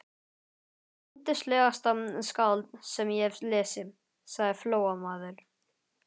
Hann er yndislegasta skáld sem ég hef lesið, sagði Flóamaður.